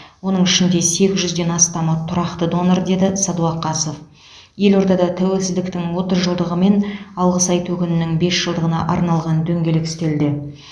оның ішінде сегіз жүзден астамы тұрақты донор деді сәдуақасов елордада тәуелсіздіктің отыз жылдығы мен алғыс айту күнінің бес жылдығына арналған дөңгелек үстелде